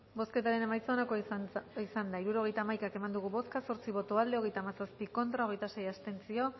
bozketaren emaitza onako izan da hirurogeita hamaika eman dugu bozka zortzi boto aldekoa hogeita hamazazpi contra hogeita sei abstentzio